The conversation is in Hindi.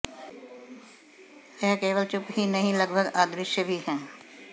वह केवल चुप ही नहीं लगभग अदृश्य भी हैं